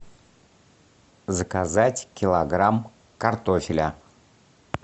заказать килограмм картофеля